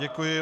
Děkuji.